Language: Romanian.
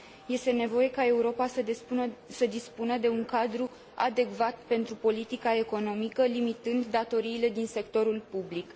Este nevoie ca Europa să dispună de un cadru adecvat pentru politica economică, limitând datoriile din sectorul public.